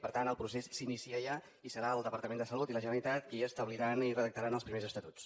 per tant el procés s’inicia ja i serà el departament de salut i la generalitat qui establiran i redactaran els primers estatuts